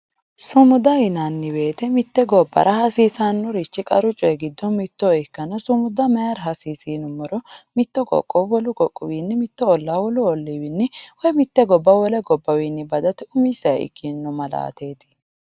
Sumuda yinnanni woyte mitte gobbara hasiisanori qaru coyi giddo mitto ikkanna mayra hasiisi yinuummoro mitto Qoqqowo wolu qoqqowi mitto olla wolu olliwinni woyi mitte gobba wole gobbawinni badate umiseha ikkino ma'laateti.